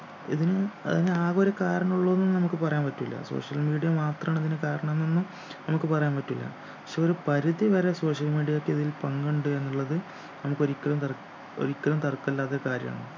ഇതിനും ഏർ ഇതിന് ആകെ ഒരു കാരണം ഉള്ളൂന്ന് നമുക്ക് പറയാൻ പറ്റൂലാ social media മാത്രാണ് അതിനു കാരണംന്നൊന്നും നമുക്ക് പറയാൻ പറ്റൂലാ ക്ഷേ ഒരു പരിധി വരെ social media ക്കിതിൽ പങ്കുണ്ട് എന്നുള്ളത് നമുക്കൊരിക്കലും തർ ഒരിക്കലും തർക്കമില്ലാത്ത ഒരു കാര്യാണ്